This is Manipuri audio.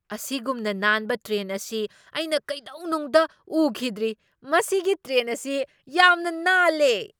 ꯑꯁꯤꯒꯨꯝꯅ ꯅꯥꯟꯕ ꯇ꯭ꯔꯦꯟ ꯑꯁꯤ ꯑꯩꯅ ꯀꯩꯗꯧꯅꯨꯡꯗ ꯎꯈꯤꯗ꯭ꯔꯤ! ꯃꯁꯤꯒꯤ ꯇ꯭ꯔꯦꯟ ꯑꯁꯤ ꯌꯥꯝꯅ ꯅꯥꯜꯂꯦ!